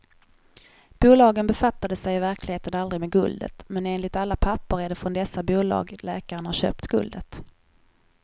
Bolagen befattade sig i verkligheten aldrig med guldet, men enligt alla papper är det från dessa bolag läkaren har köpt guldet.